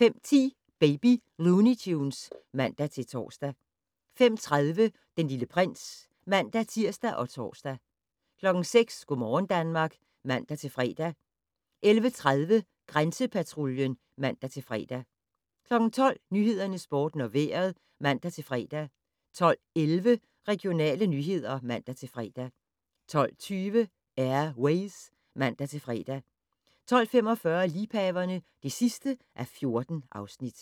05:10: Baby Looney Tunes (man-tor) 05:30: Den Lille Prins (man-tir og tor) 06:00: Go' morgen Danmark (man-fre) 11:30: Grænsepatruljen (man-fre) 12:00: Nyhederne, Sporten og Vejret (man-fre) 12:11: Regionale nyheder (man-fre) 12:20: Air Ways (man-fre) 12:45: Liebhaverne (14:14)